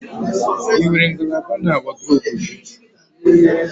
Ị nwere ngalaba na wọdụrobu gị?